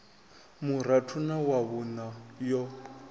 vhuraru na wa vhuṋa yo